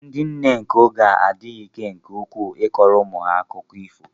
Ndị nne nke oge adịghị ike nke ukwuu ịkọro umu ha akụkọ ifo